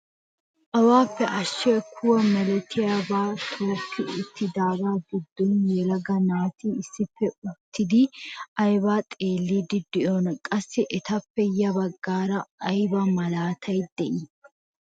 Awaappe ashiyaa kuwa milatiyaabaa tokki uttidogaa giddon yelaga naati issippe uttidi aybaa xeelliidi de'iyoonaa? qassi etappe ya baggaara ayba malaatay de'ii?